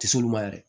Tisolu ma yɛrɛ